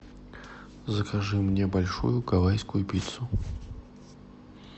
закажи мне большую гавайскую пиццу